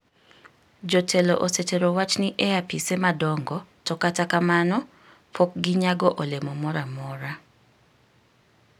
Jotelo osetero wach ni e apise madongo to kata kamano pok ginyago olemo moro amora.